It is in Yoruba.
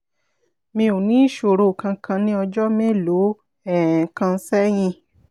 mi ò ní ìṣòro kankan ní ọjọ́ mélòó um kan sẹ́yìn